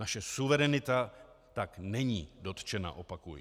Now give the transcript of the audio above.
Naše suverenita tak není dotčena, opakuji.